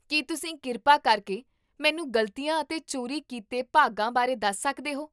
ਕੀ ਤੁਸੀਂ ਕਿਰਪਾ ਕਰਕੇ ਮੈਨੂੰ ਗ਼ਲਤੀਆਂ ਅਤੇ ਚੋਰੀ ਕੀਤੇ ਭਾਗਾਂ ਬਾਰੇ ਦੱਸ ਸਕਦੇ ਹੋ?